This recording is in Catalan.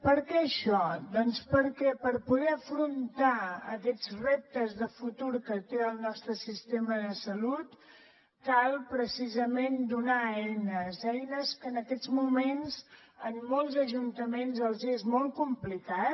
per què això doncs perquè per poder afrontar aquests reptes de futur que té el nostre sistema de salut cal precisament donar eines eines que en aquests moments a molts ajuntaments els és molt complicat